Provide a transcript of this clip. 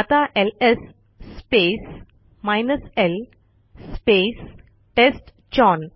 आता LS space l space टेस्टचाउन